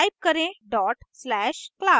type करें /class dot slash class